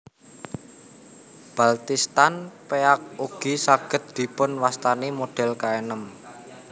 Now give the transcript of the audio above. Baltistan Peak ugi saged dipun wastani model kaenem